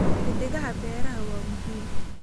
Xiddigaha beeraha waa muhiim.